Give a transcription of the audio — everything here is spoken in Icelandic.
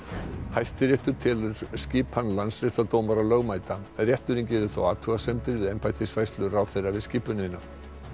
Hæstiréttur telur skipan landsréttardómara lögmæta rétturinn gerir þó athugasemdir við embættisfærslu ráðherra við skipunina